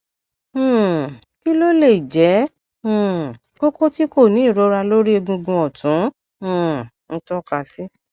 um kí ló lè jẹ um koko tí kò ní ìrora lórí egungun ọtún um ń tọka sí